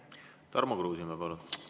Tarmo Kruusimäe, palun!